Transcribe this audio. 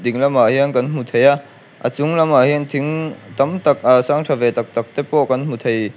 dinglamah hian kan hmu thei a a chung lamah hian thing tam tak ah sang tha ve tak tak te pawh kan hmu thei--